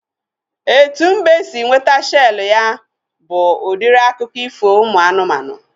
Etu mbe si nweta shelu ya bụ udiri akụkọ ifo ụmụ anụmanụ